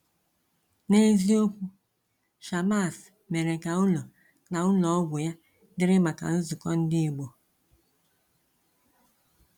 N’eziokwu, Shammas mere ka ụlọ na ụlọ ọgwụ ya dịrị maka nzukọ Ndị Ìgbò.